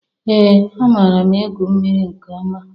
Ee! Amaara m egwu mmiri nke ọma.